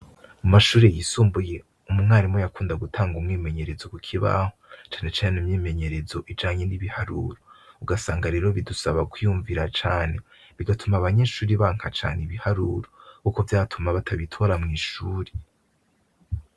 Mu mashure yisumbuye umwarimu yakunda gutanga umwimenyerezo ku kibaho cane cane imyimenyerezo ijanye n' ibiharuro uhasanga rero bisaba kwiyumvira cane bigatuma abanyeshure banka cane ibiharuro kuko vyatuma batabitora mwishure.